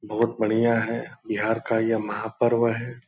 बहुत बढ़ियां है बिहार का यह महापर्व है ।